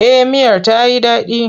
Eh miyar ta yi daɗi.